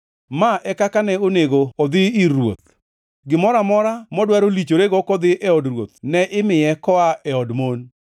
Ma e kaka ne onego odhi ir ruoth: Gimoro amora modwaro lichorego kodhi e od ruoth ne imiye koa e od mon.